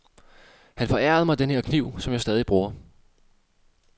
Han forærede mig den her kniv, som jeg stadig bruger.